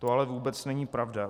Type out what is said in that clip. To ale vůbec není pravda.